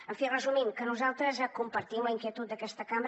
en fi resumint nosaltres compartim la inquietud d’aquesta cambra